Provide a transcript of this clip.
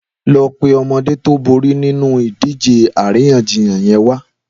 Lọ pé ọmọdé tó bóri ninú idìjé àrínyànjíyàn yèn wá